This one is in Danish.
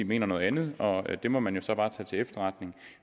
mener noget andet og det må man jo så bare tage til efterretning